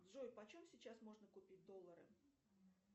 джой почем сейчас можно купить доллары